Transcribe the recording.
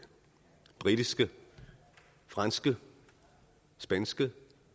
britiske det franske det spanske og